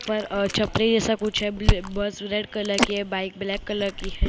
पर अ छतरी जैसा कुछ है ब्ला बस रेड कलर की है बाइक ब्लैक कलर की है उधर-- --